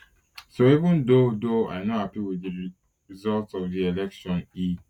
so even though though i no happy wit di result of di election e